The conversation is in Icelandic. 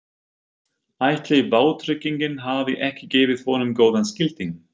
Ætli vátryggingin hafi ekki gefið honum góðan skilding?